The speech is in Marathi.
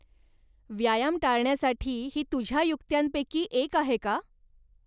व्यायाम टाळण्यासाठी ही तुझ्या युक्त्यांपैकी एक आहे का?